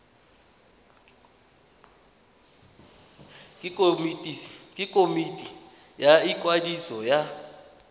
ke komiti ya ikwadiso ya